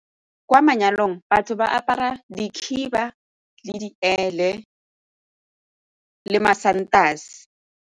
Kwa manyalong, batho ba apara dikhiba le diele le masantase.